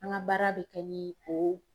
An ka baara bɛ kɛ ni o